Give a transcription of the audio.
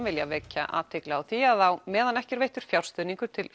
vilja vekja athygli á því að á meðan ekki er veittur fjárstuðningur til